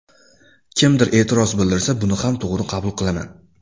Kimdir e’tiroz bildirsa buni ham to‘g‘ri qabul qilaman”.